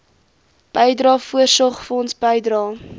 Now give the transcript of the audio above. bydrae voorsorgfonds bydrae